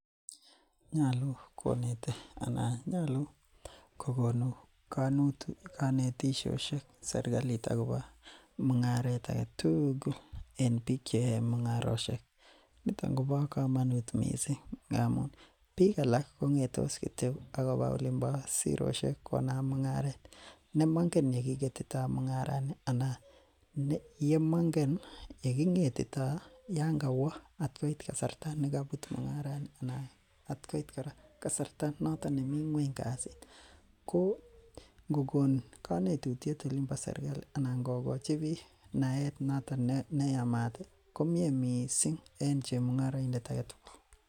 Nyalu konete anan nyalu kokonu kanetisosiek serkali mung'aret age tugul. En bik cheyae mung'arosiek niton koba kamanut missing ngamun bik alak kongetos kityo akoba olimbo sirosiek ih konam mung'aret nemongen yekiketito mung'arani anan anan yemangen yeging'etito Yoon ka wo at koit kasarta nekaibut mung'arani anan at koit kasarta noton nemi ng'uany kasit ko ingokon kanetutiet Olin bo sirkali Anan ko kochi bik naet noton neyamaat ih komie missing en chemung'arainik agetugul